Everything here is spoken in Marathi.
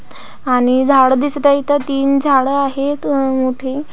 आणि झाडं दिसत आहेत इथं तीन झाडं आहेत अह मोठे--